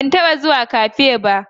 Ban taba zuwa Cafe ba